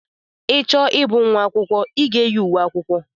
I chọọ ịbụ nwa akwụkwọ, I ga-eyi uwe akwụkwọ.